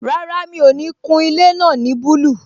Rárá, mi ò ní kun ilé náà ní búlù